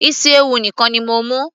isi ewu nìkan ni mo mú